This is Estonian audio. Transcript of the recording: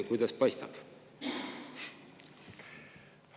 Kuidas paistab?